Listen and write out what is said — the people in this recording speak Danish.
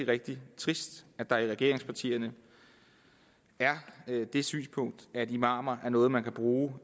rigtig trist at der i regeringspartierne er det synspunkt at imamer er noget man kan bruge